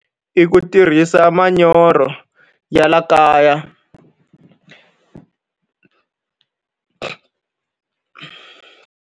I ku tirhisa manyoro ya laha kaya.